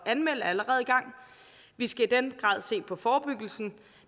anmelde er allerede i gang vi skal i den grad se på forebyggelsen